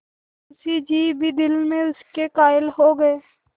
मुंशी जी भी दिल में इसके कायल हो गये